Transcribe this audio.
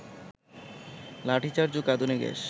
লাঠিচার্জ ও কাঁদুনে গ্যাস